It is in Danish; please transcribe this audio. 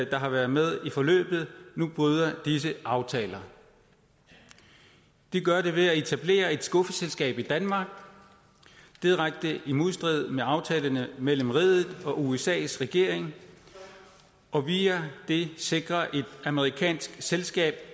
der har været med i forløbet nu bryder disse aftaler det gør de ved at etablere et skuffeselskab i danmark i direkte modstrid med aftalerne mellem riget og usas regering og via det sikre et amerikansk selskab